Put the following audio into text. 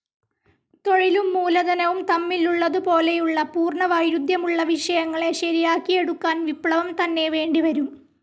തൊഴിലും മൂലധനവും തമ്മിലുള്ളതു പോലെയുള്ള പൂർണ വൈരുദ്ധ്യമുള്ള വിഷയങ്ങളെ ശരിയാക്കിയെടുക്കാൻ വിപ്ലവം തന്നെ വേണ്ടിവരും.